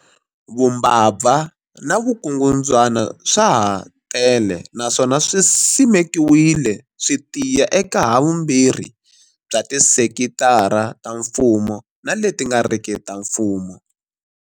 Vumbabva na vukungundzwana swa ha tele naswona swi simekiwile swi tiya eka havumbirhi bya tisekitara ta mfumo na leti nga riki ta mfumo.